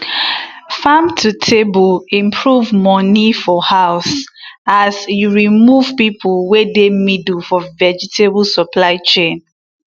farm to table improve money for house as e remove people wey dey middle for vegetable supply chain